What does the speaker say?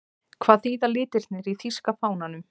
Hvað þýða litirnir í þýska fánanum?